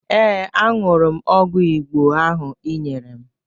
Ee, aṅụrụ m ọgwụ Igbo ahụ ị nyere m